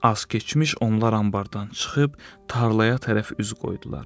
Az keçmiş onlar anbardan çıxıb tarlaya tərəf üz qoydular.